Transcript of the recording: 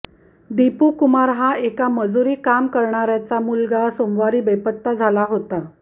दीपू कुमार हा एका मजूरी काम करणाऱ्याचा मुलगा सोमवारी बेपत्ता झाला होता